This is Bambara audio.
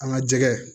An ka jɛgɛ